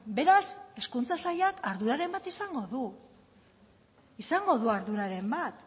beraz hezkuntza sailak arduraren bat izango du izango du arduraren bat